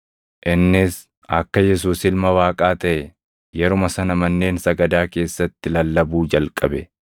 Innis akka Yesuus ilma Waaqaa taʼe yeruma sana manneen sagadaa keessatti lallabuu jalqabe.